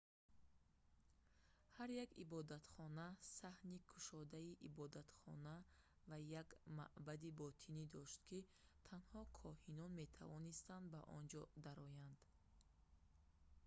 ҳар як ибодатхона саҳни кушодаи ибодатхона ва як маъбади ботинӣ дошт ки танҳо коҳинон метавонистанд ба он ҷо дароянд